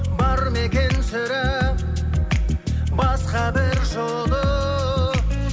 бар ма екен сірә басқа бір жолы